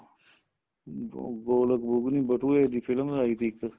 ਅਹ ਗੋਲਕ ਬੁਗਨੀ ਬਟੂਏ ਦੀ film ਲਾਈ ਤੀ ਇੱਕ